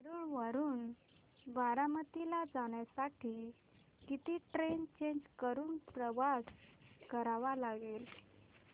नेरळ वरून बारामती ला जाण्यासाठी किती ट्रेन्स चेंज करून प्रवास करावा लागेल